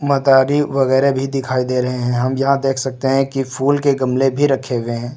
मदारी वगैरह भी दिखाई दे रहे हैं हम यहां देख सकते हैं कि फूल के गमले भी रखे हुए हैं।